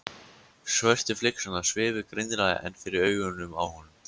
Svörtu flygsurnar svifu greinilega enn fyrir augunum á honum.